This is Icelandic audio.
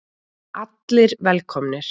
Allir velkomnir.